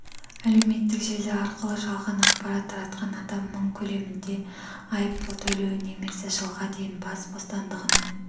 әлеуметтік желі арқылы жалған ақпарат таратқан адам мың көлемінде айыппұл төлеуі немесе жылға дейін бас бостандығынан